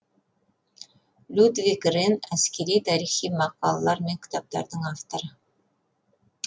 людвиг ренн әскери тарихи мақалалар және кітаптардың авторы